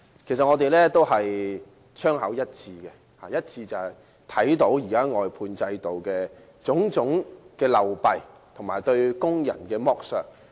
其實我們的槍口一致，我們均看到現時外判制度的種種流弊和對工人的剝削。